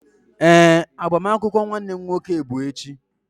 Ee, agbamakwụkwọ nwanne m nwoke bụ echi.